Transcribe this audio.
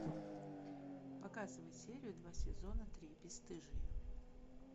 показывай серию два сезона три бесстыжие